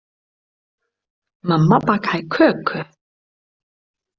Mamma bakaði köku.